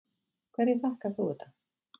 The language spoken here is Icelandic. Hverju þakkar þú þetta?